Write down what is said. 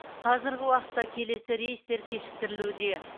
қазіргі уақытта келесі рейстер кешіктірілуде